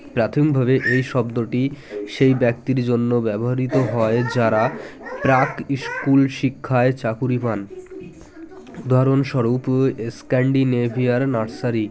প্রাথমিক ভাবে এই শব্দটি সেই ব্যক্তির জন্য ব্যবহৃত হয় যারা প্রাক্ school শিক্ষায় চাকুরী পান উদাহরণ স্বরূপ scandinavia - র nursery